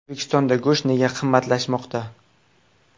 O‘zbekistonda go‘sht nega qimmatlashmoqda?.